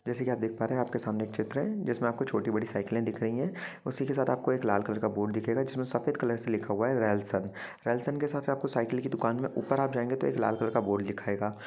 जैसा की आप देख पा रहा है आपके सामने एक चित्र है इसमे छोटी-बड़ी सायकल दिख रही है उसी के साथ आपको एक लाल कलर का बोर्ड दिखेगा जिसमे सफेद कलर से लिखा हुआ है रेलसोंन रेलसोंन के साथ साथ आपको साइकिल की दुकान में ऊपर आप जायेगे तो एक लाल कलर का बोर्ड दिखेगा।